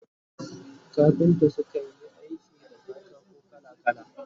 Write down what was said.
Kafinta su kan Yi aiki da katako kala kala